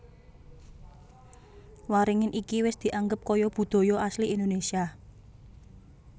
Waringin iki wis dianggep kaya budaya asli Indonesia